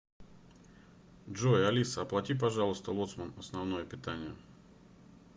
джой алиса оплати пожалуйста лоцман основное питание